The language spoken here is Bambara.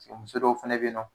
Muso dɔw fɛnɛ bɛ yen nɔ